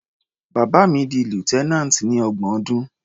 Bàbá mi di lieutenant ní ọgbọ̀n ọdún.